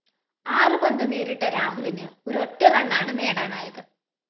ആറ് പന്ത് നേരിട്ട രാഹുലിന് ഒരൊറ്റ റണ്ണാണ് നേടാനായത്